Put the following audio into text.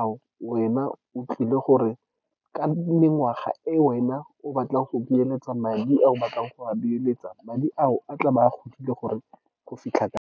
ao wena o tlile gore, ka mengwaga e wena o batlang go beeletsa, madi a o batlang go a beeletsa, madi ao a tla ba a godile, gore go fitlha kae.